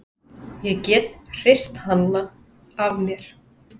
Ég gat hrist hann af mér.